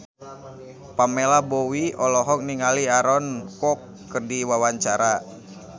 Pamela Bowie olohok ningali Aaron Kwok keur diwawancara